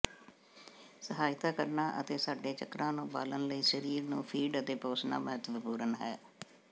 ਸਹਾਇਤਾ ਕਰਨਾ ਅਤੇ ਸਾਡੇ ਚੱਕਰਾਂ ਨੂੰ ਬਾਲਣ ਲਈ ਸਰੀਰ ਨੂੰ ਫੀਡ ਅਤੇ ਪੋਸਣਾ ਮਹੱਤਵਪੂਰਨ ਹੈ